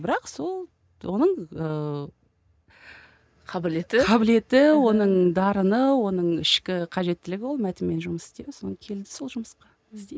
бірақ сол оған ыыы қабілеті қабілеті оның дарыны оның ішкі қажеттілігі ол мәтінмен жұмыс істеу соны келді сол жұмысқа істейді